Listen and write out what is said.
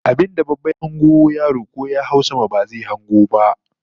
Abinda babba ya hango yaro ko ya hau sama ba zai hango ba